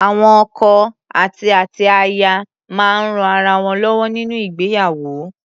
Awọn ọkọ àti àti aya máa ń rán ara wọn lọ́wọ́ nínú ìgbéyàwó.